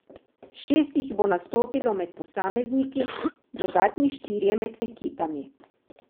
Šest jih bo nastopilo med posamezniki, dodatni štirje med ekipami.